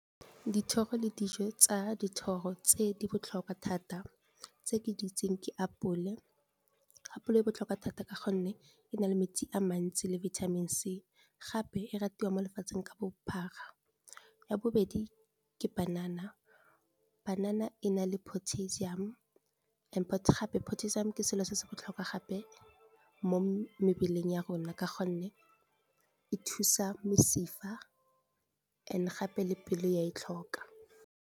Dithoro le dijo tsa dithoro tse di botlhokwa thata tse ke di itseng ke apole, apole e botlhokwa thata ka gonne e na le metsi a mantsi le vitamins C gape e ratiwa mo lefatsheng ka bophara, ya bobedi ke banana banana e na le potassium, and-e gape potassium ke selo se se botlhokwa gape mo mebeleng ya rona ka gonne e thusa mesifa and gape le pelo ya e tlhoka.